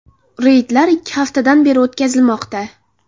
Reydlar ikki haftadan beri o‘tkazilmoqda.